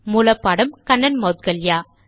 மூல பாடம் கண்ணன் மௌத்கல்யா